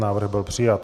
Návrh byl přijat.